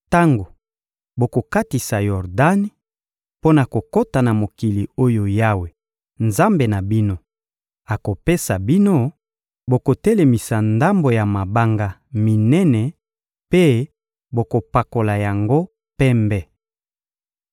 Tango bokokatisa Yordani mpo na kokota na mokili oyo Yawe, Nzambe na bino, akopesa bino, bokotelemisa ndambo ya mabanga minene mpe bokopakola yango pembe.